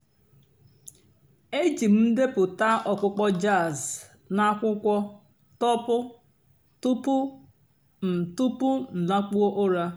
èjí m ǹdèpụ́tá ọ̀kpụ́kpọ́ jàzz nà àkwụ́kwọ́ tọ́pụ́ túpú m túpú m làkpụ́ọ́ ụ́rà.